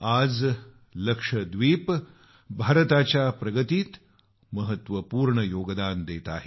आज लक्षद्वीप भारताच्या प्रगतीत महत्वपूर्ण योगदान देत आहे